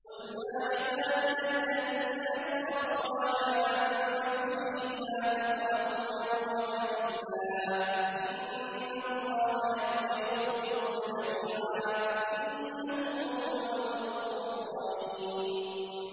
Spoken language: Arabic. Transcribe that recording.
۞ قُلْ يَا عِبَادِيَ الَّذِينَ أَسْرَفُوا عَلَىٰ أَنفُسِهِمْ لَا تَقْنَطُوا مِن رَّحْمَةِ اللَّهِ ۚ إِنَّ اللَّهَ يَغْفِرُ الذُّنُوبَ جَمِيعًا ۚ إِنَّهُ هُوَ الْغَفُورُ الرَّحِيمُ